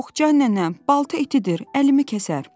Yox, can nənəm, balta itidir, əlimi kəsər.